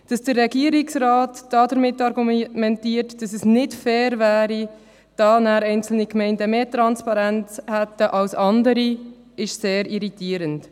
Dass der Regierungsrat damit argumentiert, dass es nicht fair wäre, dass anschliessend einige Gemeinden mehr Transparenz hätten als andere, ist sehr irritierend.